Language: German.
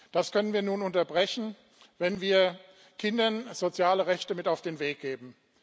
Das können wir nun unterbrechen, wenn wir Kindern soziale Rechte mit auf den Weg geben.